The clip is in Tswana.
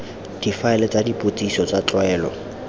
difaele tsa dipotsiso tsa tlwaelo